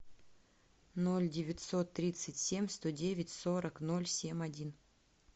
ноль девятьсот тридцать семь сто девять сорок ноль семь один